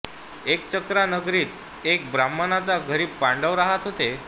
एकचक्रा नगरीत एका ब्राह्मणाच्या घरी पांडव रहात होते